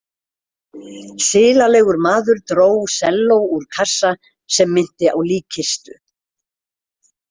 Silalegur maður dró selló úr kassa sem minnti á líkkistu.